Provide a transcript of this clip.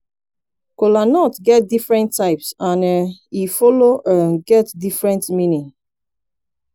kolanut get different types and um e follow um get different meaning